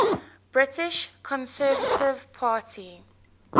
british conservative party